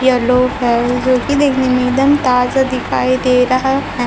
Yellow है जोकि देखने में एक दम तार सा दिखाई दे रहा है।